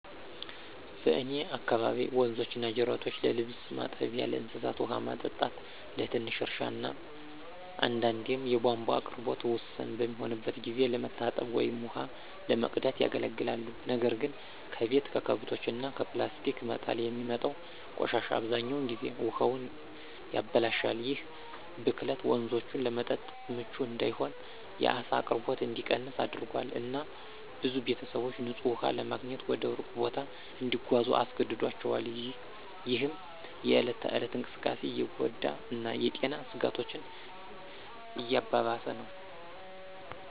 በእኔ አካባቢ ወንዞችና ጅረቶች ለልብስ ማጠቢያ፣ ለእንስሳት ውሃ ማጠጣት፣ ለትንሽ እርሻ እና አንዳንዴም የቧንቧ አቅርቦት ውስን በሚሆንበት ጊዜ ለመታጠብ ወይም ውሃ ለመቅዳት ያገለግላሉ። ነገር ግን ከቤት፣ ከከብቶች እና ከፕላስቲክ መጣል የሚወጣው ቆሻሻ አብዛኛውን ጊዜ ውሃውን ያበላሻል። ይህ ብክለት ወንዞቹን ለመጠጥ ምቹ እንዳይሆን፣ የዓሳ አቅርቦት እንዲቀንስ አድርጓል፣ እና ብዙ ቤተሰቦች ንፁህ ውሃ ለማግኘት ወደ ሩቅ ቦታ እንዲጓዙ አስገድዷቸዋል፣ ይህም የእለት ተእለት እንቅስቃሴን እየጎዳ እና የጤና ስጋቶችን እያባባሰ ነው።